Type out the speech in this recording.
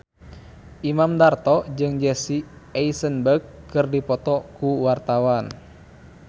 Imam Darto jeung Jesse Eisenberg keur dipoto ku wartawan